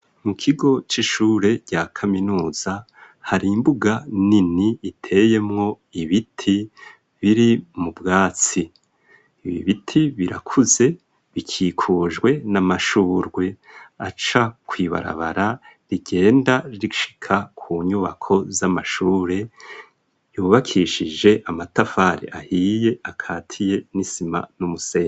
mukigo c'ishure rya kaminuza hari imbuga nini iteyemo ibiti biri mu bwatsi ibi biti birakuze bikikujwe n'amashurwe aca kw'ibarabara rigenda rishika ku nyubako z'amashure yubakishije amatafari ahiye akatiye n'isima n'umusenyi.